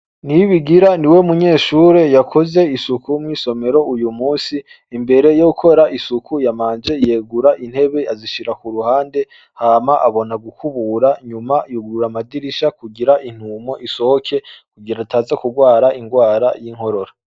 niyibigira ni we munyeshure yakoze isuku mw'isomero uyu munsi imbere yo gukora isuku yamanje iyegura intebe azishira ku ruhande hama abona gukubura nyuma yugurura amadirisha kugira intumo isohoke kugira ataza kurwara indwara y'inkorora